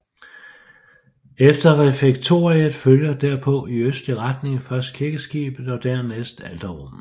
Efter refektoriet følger derpå i østlig retning først kirkeskibet og dernæst alterrummet